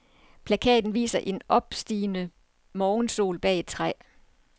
Plakaten viser en opstigende morgensol bag et træ.